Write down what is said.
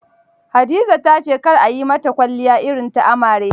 Hadiza ta ce kar a yi mata kwalliya irin ta amare.